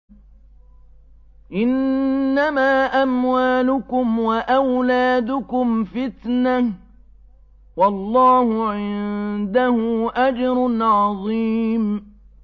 إِنَّمَا أَمْوَالُكُمْ وَأَوْلَادُكُمْ فِتْنَةٌ ۚ وَاللَّهُ عِندَهُ أَجْرٌ عَظِيمٌ